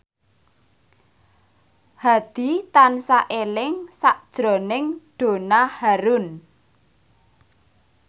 Hadi tansah eling sakjroning Donna Harun